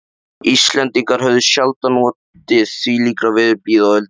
Íslendingar höfðu sjaldan notið þvílíkrar veðurblíðu á öldinni.